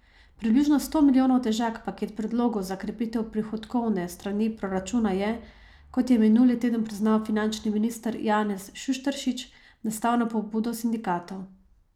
Približno sto milijonov težak paket predlogov za krepitev prihodkovne strani proračuna je, kot je minuli teden priznal finančni minister Janez Šušteršič, nastal na pobudo sindikatov.